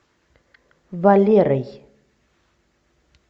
валерой